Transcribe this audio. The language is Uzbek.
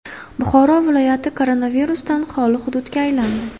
Buxoro viloyati koronavirusdan xoli hududga aylandi .